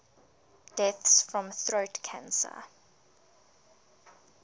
deaths from throat cancer